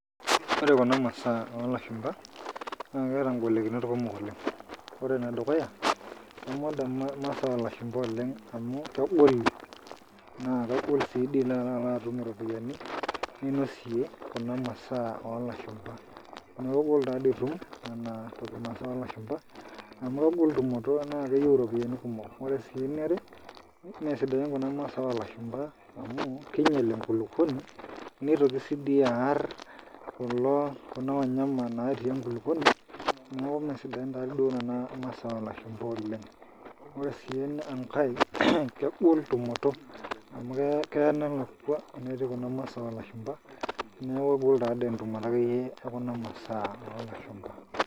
Ore kuna masaa oo lashupa naa keata igolikinot kumok oleng ore ene dukuya kemoda imasaa oo lashupa oleng amu kegoli naa kegol sii ilo atum iropiyani ninosie kuna masaa oo lashupa amu kegol taadi itum nena masaa oo lashupa amu kegol tumoto naa keyieu iropiyani kumok wore sii eniare mesidain kuna masaa oo lashupa amu kinyial enkulupuoni nitoki sii dii arr kuna wanyama natii enkulupuoni neaku meesidain taadi duo nena masaa oo lashupa oleng ore sii enkae naa kegol tumoto amu keya nelakwa enetii kuna masaa oo lashupa neaku taadi kegol akeyie tumoto oo kuna masaa oo lashupa.